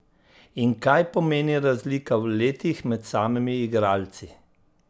In kaj pomeni razlika v letih med samimi igralci?